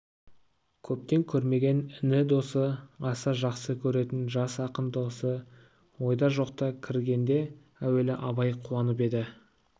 көптен көрмеген іні досы аса жақсы көретін жас ақын досы ойда жоқта кіргенде әуелі абай қуанып еді